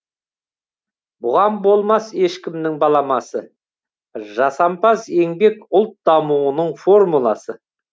бұған болмас ешкімнің баламасы жасампаз еңбек ұлт дамуының формуласы